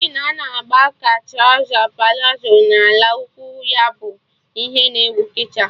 Jin a na-gba ka trọza palazo na ala ụkwụ ya bụ ihe na ewu kịta